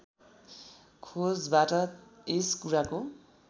खोजबाट यस कुराको